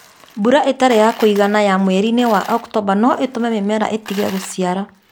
Mbura itari͂ ya ku͂igana ya mweri-ini͂ wa Oktomba no i͂tu͂me mi͂mera i͂tige gu͂ciara.